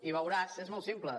i veurà si és molt simple